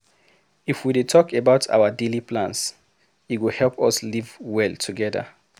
If we dey talk about our daily plans, e go help us live well together.